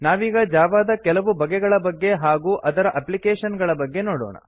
ನಾವೀಗ ಜಾವಾ ದ ಕೆಲವು ಬಗೆಗಳ ಬಗ್ಗೆ ಹಾಗೂ ಅದರ ಎಪ್ಲಿಕೇಶನ್ ಗಳ ಬಗ್ಗೆ ನೋಡೋಣ